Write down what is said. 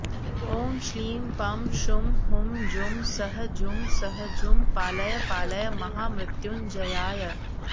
ॐ श्लीं पं शुं हुं जुं सः जुं सः जुं पालय पालय महामृत्युञ्जयाय